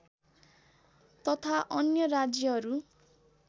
तथा अन्य राज्यहरू